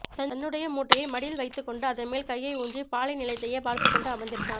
தன்னுடைய மூட்டையை மடியில் வைத்துவிட்டு அதன்மேல் கையை ஊன்றிப் பாலைநிலத்தையே பார்த்துக்கொண்டு அமர்ந்திருந்தான்